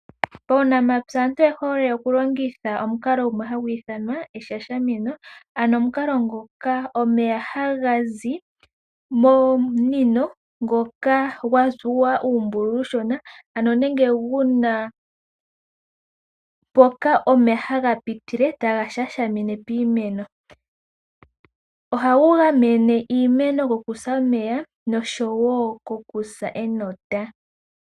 Paunamapya aantu oye hole okulongitha omukalo gumwe hagu ithanwa okutekela tagu shashamine, ano omukalo ngoka omeya haga zi momunino ngoka gwa tsuwa uumbululu uushona nenge gu na mpoka omeya haga pitile taga shashamine piimeno. Ohagu gamene iimeno kokusa omeya noshowo kokusa enota.